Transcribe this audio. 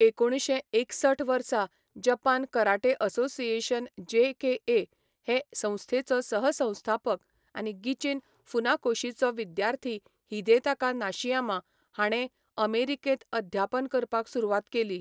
एकुणशे एकसठ वर्सा जपान कराटे असोसिएशन जेकेए हे संस्थेचो सहसंस्थापक आनी गिचिन फुनाकोशीचो विद्यार्थी हिदेताका निशियामा हाणें अमेरिकेंत अध्यापन करपाक सुरवात केली.